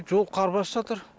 жол қар басып жатыр